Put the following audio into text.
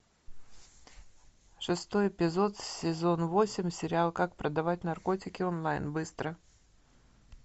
шестой эпизод сезон восемь сериал как продавать наркотики онлайн быстро